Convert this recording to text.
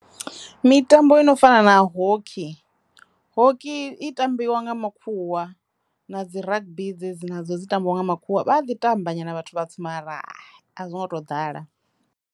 Mitambo ino fana na hockey, hockey i tambiwa nga makhuwa na dzi ragabi dzedzi na dzo dzi tambiwa nga makhuwa vha a ḓi tamba nyana vhathu vhatswu ma ra hhay a zwi ngo to ḓala.